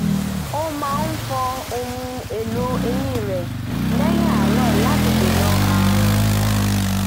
ó máa fọ ohun èlò eyín rẹ̀ lẹ́yìn àárọ̀ láti dènà ààrùn